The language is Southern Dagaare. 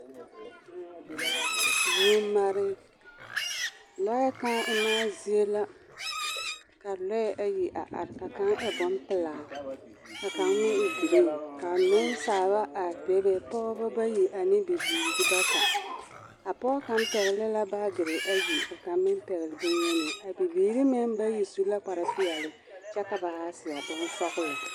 Lɔɛ kãã emaa zie la ka lɔɛ ayi a are ka kaŋa e bompelaa ka kaŋ meŋ e ɡree ka nensaaba a bebe pɔɔbɔ bayi ane bibiiri bata a pɔɔ kaŋ pɛɡele la baaɡri ayi ka kaŋ meŋ pɛɡele bonyeni a bibiiri meŋ bayi su la kparpeɛle kyɛ ka ba ha seɛ bonsɔɔlɔ.